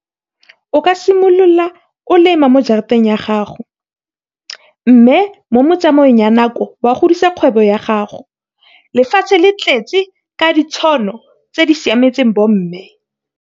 O ka simolola o lema mo jarateng ya gago mme mo tsamaong ya nako wa godisa kgwebo ya gago. Lefatshe le tletse ka ditšhono tse di siametseng bomme.